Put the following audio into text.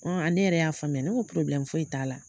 Ne yɛrɛ y'a faamuya ne ko foyi t'a la.